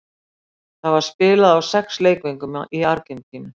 Þá var spilað á sex leikvöngum í Argentínu.